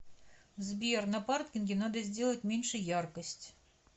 сбер на паркинге надо сделать меньше яркость